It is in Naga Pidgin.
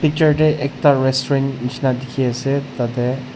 picture dae ekta restaurant nishina diki asae tadae.